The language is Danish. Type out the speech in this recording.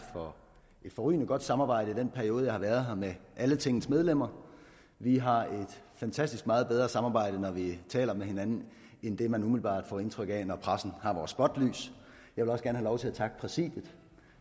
for et forrygende godt samarbejde i den periode jeg har været her med alle tingets medlemmer vi har et fantastisk og meget bedre samarbejde når vi taler med hinanden end det man umiddelbart får indtryk af når vi er i pressens spotlys jeg vil også gerne have lov til at takke præsidiet